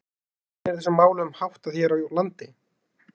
En hvernig er þessum málum háttað hér á landi?